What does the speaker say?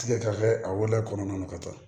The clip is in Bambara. Tigɛ ka kɛ a wolola kɔnɔna na ka taa